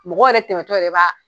Mɔgɔw yɛrɛ tɛmɛtɔ yɛrɛ b'a